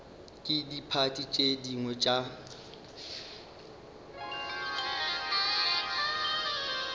ke diphathi tše dingwe tše